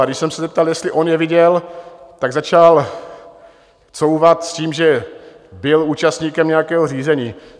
A když jsem se zeptal, jestli on je viděl, tak začal couvat s tím, že byl účastníkem nějakého řízení.